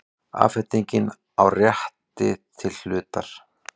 Afhending á rétti til hlutar.